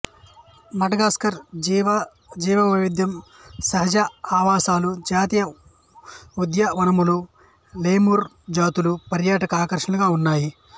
Madagascar జీవ జీవవైవిధ్యం సహజ ఆవాసాలు జాతీయ ఉద్యానవనాలు లెముర్ జాతులు పర్యాటక ఆకర్షణలుగా ఉన్నాయి